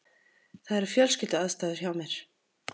Það eru fjölskylduaðstæður hjá mér.